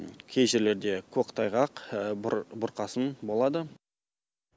кей жерлерде көктайғақ бұрқасын болады